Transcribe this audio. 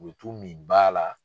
O bi t'u min ba la.